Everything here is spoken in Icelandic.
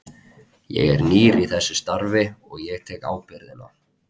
Ég er nýr í þessu starfi og ég tek ábyrgðina.